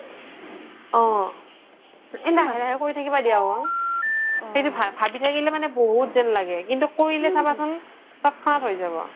অ এহ লাহে লাহে কৰি থাকিবা দিয়া ও সেইতো ভাবি থকিলে বহুত জেন লাগে কিন্তু কৰিলে চাবাচোন তোত্ঝ্হানাত হয় যাব